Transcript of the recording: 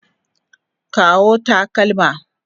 Kawo takalma.